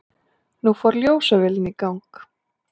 Nú fór ljósavélin í gang.